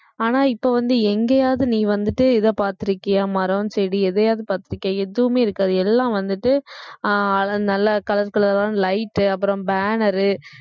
ஆனா இப்ப வந்து எங்கேயாவது நீ வந்துட்டு இத பார்த்திருக்கியா மரம் செடி எதையாவது பார்த்திருக்கியா எதுவுமே இருக்காது எல்லாம் வந்துட்டு அஹ் நல்லா color color ஆன light அப்புறம் banner